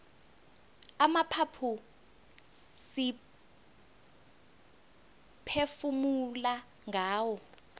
amaphaphu siphefumula ngawo